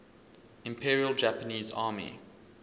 imperial japanese army